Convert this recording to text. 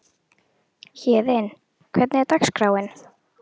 Héðinn, hvernig er dagskráin?